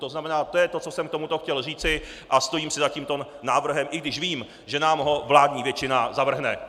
To znamená, to je to, co jsem k tomuto chtěl říci, a stojím si za tímto návrhem, i když vím, že nám ho vládní většina zavrhne.